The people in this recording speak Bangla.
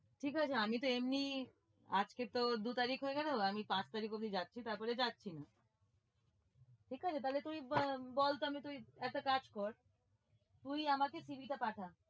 ঠিক আছে, আমি তো এমনি আজকে তোর দু তারিখ হয়ে গেলো, আমি পাঁচ তারিখ অবধি যাচ্ছি, তারপরে যাচ্ছি না ঠিক আছে তাহলে তুই আহ বল তো আমি তুই একটা কাজ কর, তুই আমাকে CV টা পাঠা।